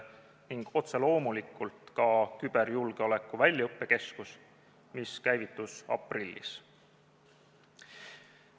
Ning otse loomulikult tuleb märkida ka küberjulgeoleku väljaõppekeskust, mis käivitus aprillis.